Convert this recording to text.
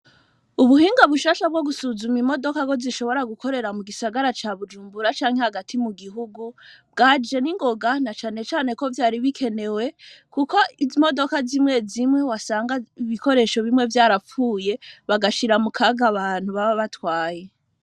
Ubuhinga bushasha bwo gusuzuma imodoka ko bishobora gukorera mu gisagara ca Bujumbura canke hagati mu gihugu bwaje ningoga na canecane ko vyari bikenewe, kuko izi modoka zimwezimwe wasanga ibikoresho bimwe vyarapfuye bagashira mu kaga abantu baba batwaye.